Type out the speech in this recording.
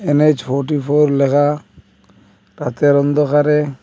NH forty four লেখা রাতের অন্ধকারে--